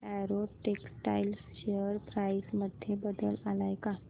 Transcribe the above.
Arrow textiles share price मध्ये बदल आलाय का